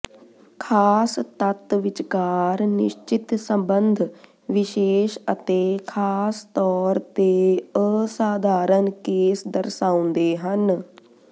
ਖਾਸ ਤੱਤ ਵਿਚਕਾਰ ਨਿਸ਼ਚਿਤ ਸਬੰਧ ਵਿਸ਼ੇਸ਼ ਅਤੇ ਖਾਸ ਤੌਰ ਤੇ ਅਸਾਧਾਰਨ ਕੇਸ ਦਰਸਾਉਂਦੇ ਹਨ